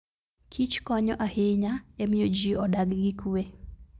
Kich konyo ahinya e miyo ji odag gi kuwe.